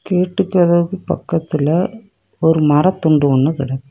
கேட்டுக்கு பக்கத்துல ஒரு மரத்துண்டு ஒன்னு கிடக்கு.